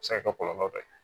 A bɛ se ka kɛ kɔlɔlɔ dɔ ye